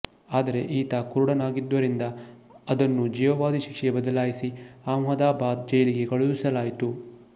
ಆದರೆ ಆತ ಕುರುಡನಾಗಿದ್ದುದರಿಂದ ಅದನ್ನು ಜೀವಾವಧಿ ಶಿಕ್ಷೆಗೆ ಬದಲಾಯಿಸಿ ಅಹಮದಾಬಾದ್ ಜೈಲಿಗೆ ಕಳುಹಿಸಲಾಯಿತು